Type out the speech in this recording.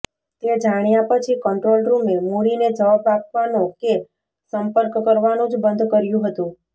તે જાણ્યા પછી કંટ્રોલ રૂમે મુળીને જવાબ આપવાનો કે સંપર્ક કરવાનું જ બંધ કર્યું હતુ